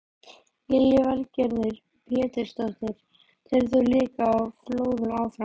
Lillý Valgerður Pétursdóttir: Telur þú líkur á flóðum áfram?